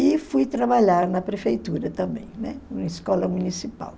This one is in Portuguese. E fui trabalhar na prefeitura também, né, na escola municipal.